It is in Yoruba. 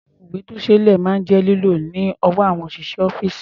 Àwọn ìwé-tó-ṣeé-lẹ̀ máa ń jẹ́ lílò lọ́wọ́ àwọn òṣìṣẹ́ ọ́fíìsì.